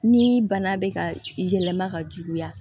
Ni bana bɛ ka yɛlɛma ka juguya